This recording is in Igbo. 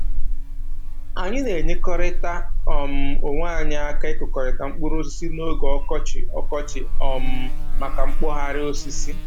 Anyị na-enyerịkọta um onwe anyị aka ịkụkọrịta mkpụrụ osisi n'oge ọkọchị ọkọchị um maka mkpọgharị osisi